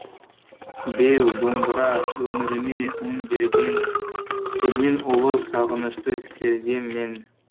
беу домбыра өміріме өң берген сенен ұлы сағынышты сезгем мен